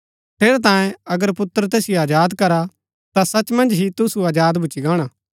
ठेरैतांये अगर पुत्र तुसिओ अजाद करा ता सच मन्ज ही तुसु अजाद भूच्ची गाणा